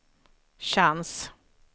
chans